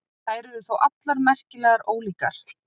Þær eru þó allar merkilega ólíkar.